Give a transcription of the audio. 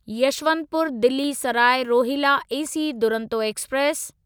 Yesvantpur Delhi Sarai Rohilla AC Duronto express